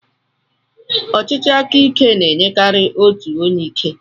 ọchịchị aka ike na-enyekarị otu onye ike.